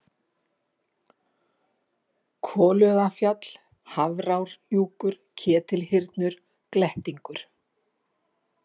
Kolugafjall, Hafrárhnjúkur, Ketilhyrnur, Glettingur